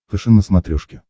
фэшен на смотрешке